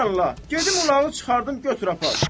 Sən Allah, gedim ulağı çıxardım götür apar.